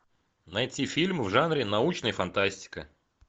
найти фильм в жанре научная фантастика